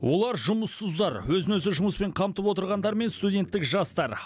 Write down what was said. олар жұмыссыздар өзін өзі жұмыспен қамтып отырғандар мен студенттік жастар